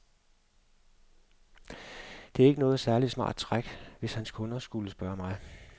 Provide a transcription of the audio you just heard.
Det er ikke noget særlig smart træk, hvis hans kunder skulle spørge mig.